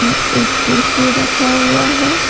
एक कुड़सी रखा हुआ है।